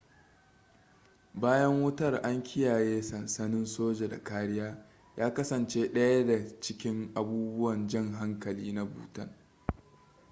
bayan wutar an kiyaye sansanin soja da kariya ya kasance ɗaya da cikin abubuwan jan hankali na bhutan